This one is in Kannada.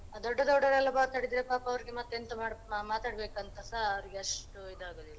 ದೊಡ್ಡ ದೊಡ್ಡವರೆಲ್ಲ ಮಾತಾಡಿದ್ರೆ ಪಾಪ ಅವ್ರಿಗೆ ಮತ್ತೆ ಎಂತ ಮಾಡ್~ ಮಾತಾಡ್ಬೇಕಂತಸ ಅವ್ರಿಗೆ ಅಷ್ಟು ಇದ್ ಆಗುದಿಲ್ಲ.